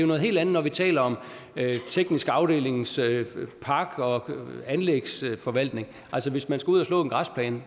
noget helt andet når vi taler om teknisk afdelings park og anlægsforvaltning hvis man skal ud at slå en græsplæne